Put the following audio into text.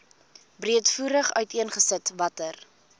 breedvoerig uiteengesit watter